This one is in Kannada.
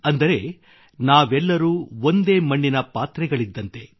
ಅಂದರೆ ನಾವೆಲ್ಲರೂ ಒಂದೇ ಮಣ್ಣಿನ ಪಾತ್ರೆಗಳಿದ್ದಂತೆ